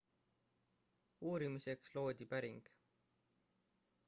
uurimiseks loodi päring